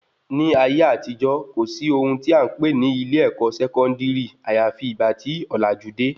Ní ayé àtijọ́, kò sí ohun tí a npè ní ilé-èkó sẹkọndiri àyàfi ìgbà tí òlàjú de